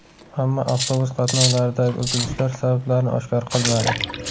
Ammo avtobus qatnovlaridagi uzilishlar sabablarini oshkor qilmadi.